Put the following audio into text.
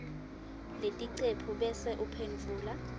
leticephu bese uphendvula